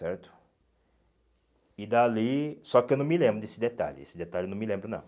certo e dali Só que eu não me lembro desse detalhe, esse detalhe eu não me lembro não.